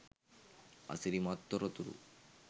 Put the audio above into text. අසිරිමත් තොරතුරු